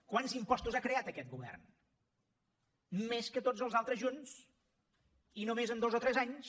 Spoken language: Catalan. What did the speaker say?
quants impostos ha creat aquest govern més que tots els altres junts i només en dos o tres anys